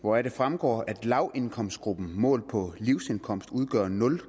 hvoraf det fremgår at lavindkomstgruppen målt på livsindkomst udgør nul